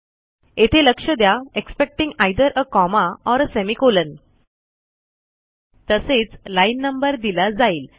येथे लक्ष द्या expecting either a comma or a semicolon तसेच लाईन नंबर दिला जाईल